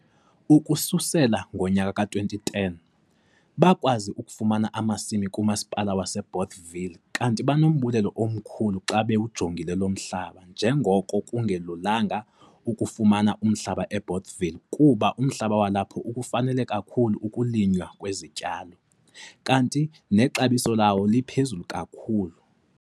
Ukususela ngo-2010, bakwazi ukufumana amasimi kuMasipala waseBothaville kanti banombulelo omkhulu xa bewujongile lo mhlaba njengoko kungelulanga ukufumana umhlaba eBothaville kuba umhlaba walapho ukufanele kakhulu ukulinywa kwezityalo, kanti futhi nexabiso lawo liphezulu kakhulu.